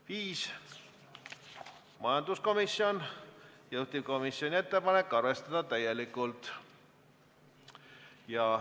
Viieski muudatusettepanek tuleb majanduskomisjonilt, juhtivkomisjoni ettepanek on arvestada seda täielikult.